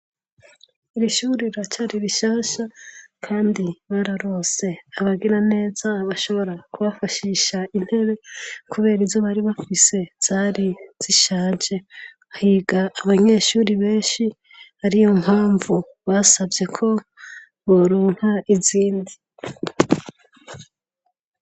Ishure riracari rishasha kandi bararonse abagira neza bashobora kubafashisha intebe kubera izo bari bafise zari zishaje higa abanyeshure benshi ariyo mpavu basavye ko boronka izindi